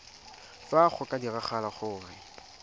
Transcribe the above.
fa go ka diragala gore